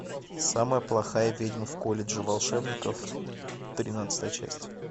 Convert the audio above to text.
самая плохая ведьма в колледже волшебников тринадцатая часть